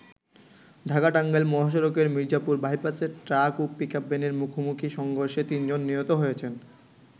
ঢাকা-টাঙ্গাইল মহাসড়কের মির্জাপুর বাইপাসে ট্রাক ও পিকআপ ভ্যানের মুখোমুখি সংর্ঘষে ৩ জন নিহত হয়েছেন।